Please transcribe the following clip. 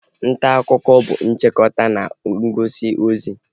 Ntaakụkọ bụ nchịkọta na ngosi ozi